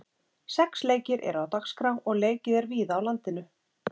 Sex leikir eru dagskrá og leikið er víða á landinu.